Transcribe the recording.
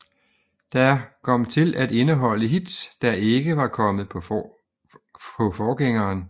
Der kom til at indeholde hits der ikke var kommet på forgængeren